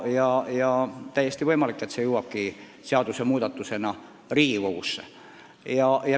On täiesti võimalik, et lahendus jõuabki seadusmuudatusena Riigikogusse.